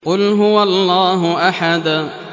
قُلْ هُوَ اللَّهُ أَحَدٌ